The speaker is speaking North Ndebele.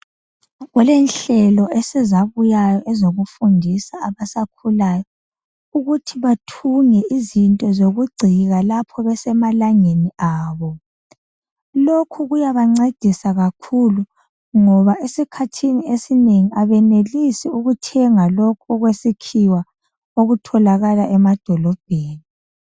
Kulenhlelo esezabuyayo ezokufundisa abasakhulayo ukuthi bathunge izinto zokugcina lapho besemalangeni abo lokhu kuyabancedisa kakhulu ngoba esikhathini esinengi abenelisi ukuthenga lokhu okwesikhiwa okutholakala emadolobheni.